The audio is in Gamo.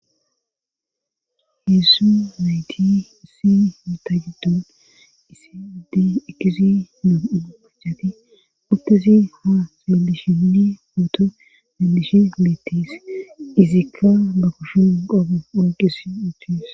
Heessu nayti issi mita jiddon isi adey ekisi moom7u pachati uttisi ha seelishini mooto melishi meettis izikka ba kushun qogo onqis uttis.